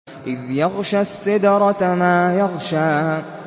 إِذْ يَغْشَى السِّدْرَةَ مَا يَغْشَىٰ